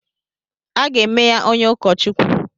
Aga eme ya onye ụkọ Chukwu.